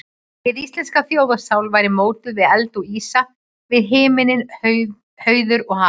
Hin íslenska þjóðarsál væri mótuð við eld og ísa, við himinn, hauður og haf.